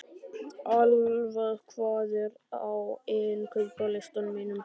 Alfa, hvað er á innkaupalistanum mínum?